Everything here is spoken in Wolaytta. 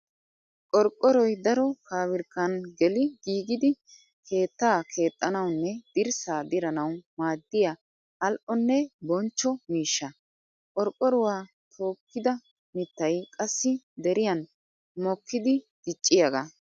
Qorqqoroy daro pabirkkan geli giiggidi keetta keexxanawunne dirssa dirannawu maadiya ali'onne bonchcho miishsha. Qorqqoruwa tookida mitay qassi deriyan mokkiddi dicciyaaga.